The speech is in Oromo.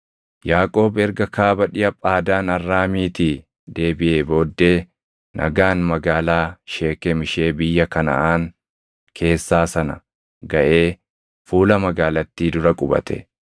Yaaqoob erga kaaba dhiʼa Phaadaan Arraamiitii deebiʼee booddee nagaan magaalaa Sheekem ishee biyya Kanaʼaan keessaa sana gaʼee fuula magaalattii dura qubate.